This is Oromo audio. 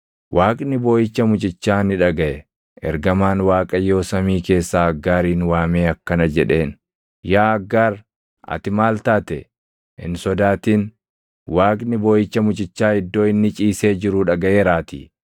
Waaqni booʼicha mucichaa ni dhagaʼe; ergamaan Waaqayyoo samii keessaa Aggaarin waamee akkana jedheen; “Yaa Aggaar ati maal taate? Hin sodaatin; Waaqni booʼicha mucichaa iddoo inni ciisee jiruu dhagaʼeeraatii.